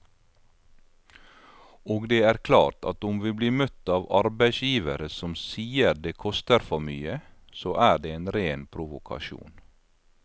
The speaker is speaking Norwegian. Og det er klart at om vi blir møtt av arbeidsgivere som sier det koster for mye, så er det en ren provokasjon.